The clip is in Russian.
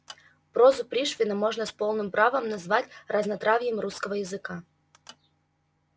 прозу пришвина можно с полным правом назвать разнотравьем русского языка